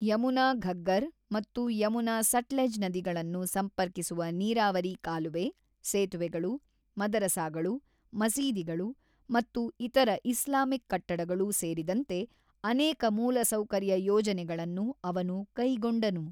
ಯಮುನಾ-ಘಗ್ಗರ್ ಮತ್ತು ಯಮುನಾ-ಸಟ್ಲೆಜ್ ನದಿಗಳನ್ನು ಸಂಪರ್ಕಿಸುವ ನೀರಾವರಿ ಕಾಲುವೆ, ಸೇತುವೆಗಳು, ಮದರಸಾಗಳು, ಮಸೀದಿಗಳು ಮತ್ತು ಇತರ ಇಸ್ಲಾಮಿಕ್ ಕಟ್ಟಡಗಳು ಸೇರಿದಂತೆ ಅನೇಕ ಮೂಲಸೌಕರ್ಯ ಯೋಜನೆಗಳನ್ನು ಅವನು ಕೈಗೊಂಡನು.